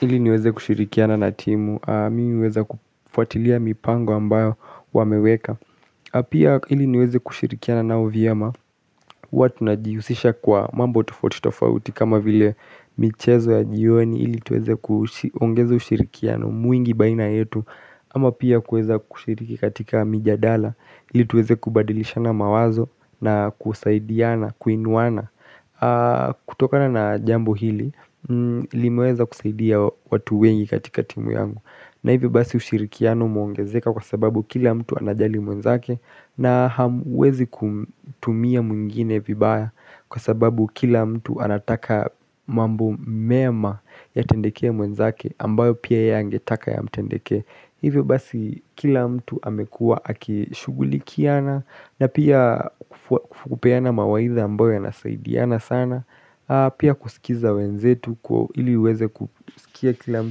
Ili niweze kushirikiana na timu, miweza kufatilia mipango ambayo wameweka Apia ili niweze kushirikia na nao vyema huwa na jiusisha kwa mambo tufotitofauti kama vile michezo ya jioni ili tuweze kushirikia na mwingi baina yetu Ama pia kueza kushiriki katika mijadala ili tuweze kubadilisha na mawazo na kusaidiana, kuinwana kutoka na na jambo hili, ilimweza kusaidia watu wengi katika timu yangu na hivyo basi ushirikiano muongezeka kwa sababu kila mtu anajali mwenzake na hamwezi kutumia mwingine vibaya kwa sababu kila mtu anataka mambo mema ya tendekee mwenzake ambayo pia ya angetaka ya mtendeke Hive basi kila mtu hamekua akishugulikiana na pia kufupeana mawaidha ambayo ya nasaidiana sana Pia kusikiza wenzetu kwa ili uweze kusikia kila